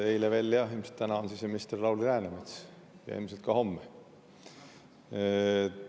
Eile veel oli ja täna on siseminister Lauri Läänemets ja ilmselt ka homme.